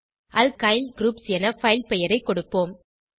alkyl groups என file பெயரைக் கொடுப்போம்